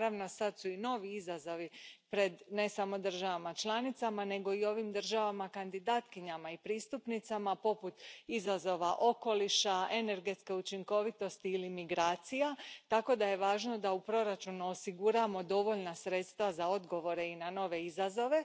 Naravno, sad su i novi izazovi pred ne samo državama članicama nego i ovim državama kandidatkinjama i pristupnicama, poput izazova okoliša, energetske učinkovitosti ili migracija, tako da je važno da u proračunu osiguramo dovoljna sredstva za odgovore i na nove izazove.